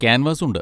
Canvas ഉണ്ട്.